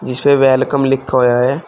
इसपे वेलकम लिखा हुया है।